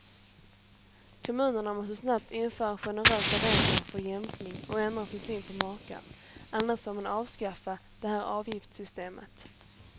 Kommunerna måste snabbt införa generösa regler för jämkning och ändra sin syn på makar, annars får man avskaffa det här avgiftssystemet.